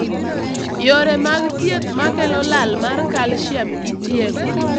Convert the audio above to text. Yore mag thieth makelo lal mar calcium itieko.